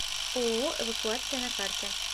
ооо эвакуация на карте